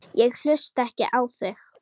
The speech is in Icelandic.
Ég hlusta ekki á þig!